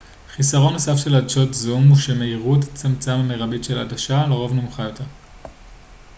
חיסרון נוסף של עדשות זום הוא שמהירות הצמצם המרבית של העדשה לרוב נמוכה יותר